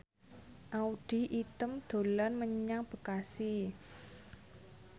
Audy Item dolan menyang Bekasi